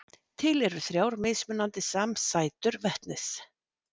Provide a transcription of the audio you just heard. Til eru þrjár mismunandi samsætur vetnis.